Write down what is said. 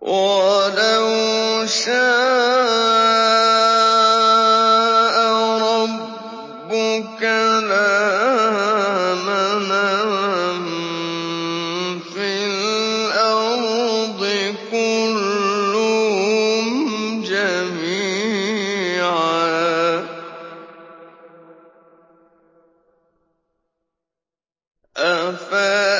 وَلَوْ شَاءَ رَبُّكَ لَآمَنَ مَن فِي الْأَرْضِ كُلُّهُمْ جَمِيعًا ۚ أَفَأَنتَ